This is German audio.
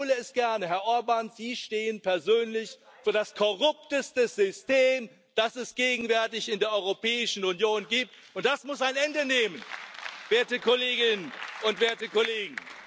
Ich wiederhole es gerne Herr Orbán, Sie stehen persönlich für das korrupteste System, das es gegenwärtig in der Europäischen Union gibt, und das muss ein Ende nehmen, werte Kolleginnen und Kollegen!